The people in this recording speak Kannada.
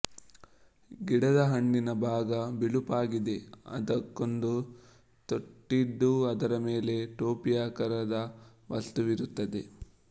ಗಿಡದ ಹಣ್ಣಿನ ಭಾಗ ಬಿಳುಪಾಗಿದ್ದು ಅದಕ್ಕೊಂದು ತೊಟ್ಟಿದ್ದು ಅದರ ಮೇಲೆ ಟೋಪಿಯಾಕಾರದ ವಸ್ತುವಿರುತ್ತದೆ